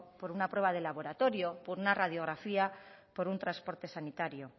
por una prueba de laboratorio por una radiografía por un transporte sanitario